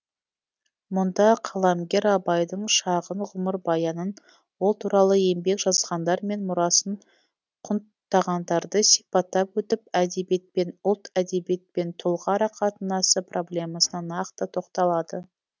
мұнда қаламгер абайдың шағын ғұмырбаянын ол туралы еңбек жазғандар мен мұрасын құнттағандарды сипаттап өтіп әдебиет пен ұлт әдебиет пен тұлға арақатынасы проблемасына нақты тоқталады